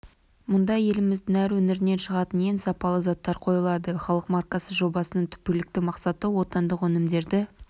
мұнда еліміздің әр өңірінен шығатын ең сапалы заттар қойылады халық маркасы жобасының түпкілікті мақсаты отандық өнімдерді